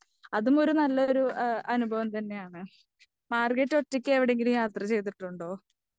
അതുമൊരു നല്ലൊരു അനുഭവംതന്നെയാണ്. മാർഗരറ്റ് ഒറ്റെക്കെവിടെയെങ്കിലും യാത്ര ചെയ്തിട്ടുണ്ടോ?